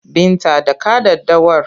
Binta dakja daddawar!